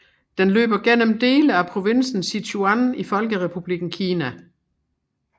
Den løber gennem dele af provinsen Sichuan i Folkerepublikken Kina